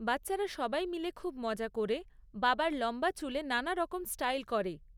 বাচ্চারা সবাই মিলে খুব মজা করে, বাবার লম্বা চুলে নানা রকম স্টাইল করে।